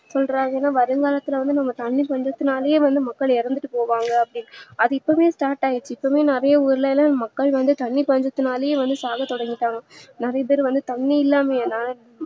சொல்றாங்கனா வருங்காலத்துல தண்ணீ பஞ்சத்துனாலே வந்து மக்கள் இறந்துட்டு போவாங்க அப்டி அது இப்பவே start ஆகிடுச்சி அதே ஊருலலா மக்கள் வந்து தண்ணீ பஞ்சத்துனாலே வந்து சாவ தொடங்கிட்டாங்க நிறையா பேரு தண்ணீ இல்லாமே